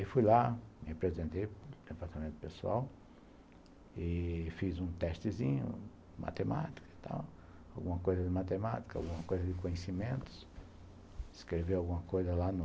Aí fui lá, me apresentei para o departamento pessoal e fiz um testezinho, matemática e tal, alguma coisa de matemática, alguma coisa de conhecimentos, escrevi alguma coisa lá no...